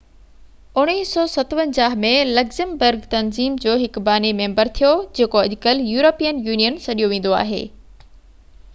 1957 ۾ Luxembourg تنظيم جو هڪ باني ميمبر ٿيو جيڪو اڄڪلهه يورپين يونين سڏيو ويندو آهي